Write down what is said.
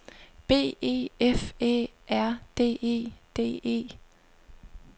B E F Æ R D E D E